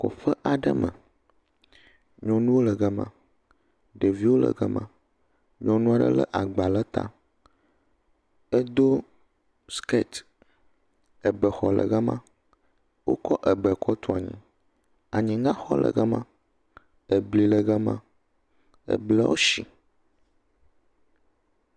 Kɔƒe aɖe me, nyɔnuwo le gama, ɖeviwo le gama, nyɔnu aɖe lé agba le ta, edo sikɛti, ebexɔ le gama, wokɔ ebe kɔ tu anyi, anyiŋaxɔ le gama, Ebli le gama, Ebleawo shi.